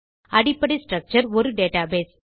அடிப்படை ஸ்ட்ரக்சர் ஒரு டேட்டாபேஸ்